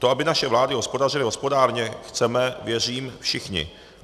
To, aby naše vlády hospodařily hospodárně, chceme, věřím, všichni.